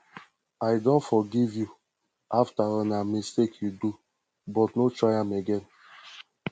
i don forgive you after all na mistake you do but no try am again